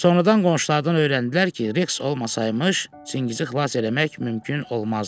Sonradan qonşulardan öyrəndilər ki, Reks olmasaymış, Çingizi xilas eləmək mümkün olmazdı.